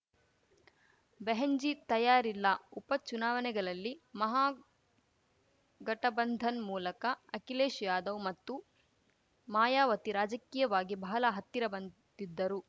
ಬೆಹೆನ್‌ಜೀ ತಯಾರಿಲ್ಲ ಉಪ ಚುನಾವಣೆಗಲಲ್ಲಿ ಮಹಾಗಠಬಂಧನ್‌ ಮೂಲಕ ಅಖಿಲೇಶ್‌ ಯಾದವ್‌ ಮತ್ತು ಮಾಯಾವತಿ ರಾಜಕೀಯವಾಗಿ ಬಹಲ ಹತ್ತಿರ ಬಂದಿದ್ದರು